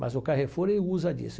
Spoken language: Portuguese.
Mas o Carrefour ele usa disso.